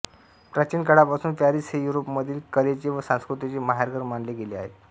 प्राचीन काळापासून पॅरिस हे युरोपामधील कलेचे व संस्कृतीचे माहेरघर मानले गेले आहे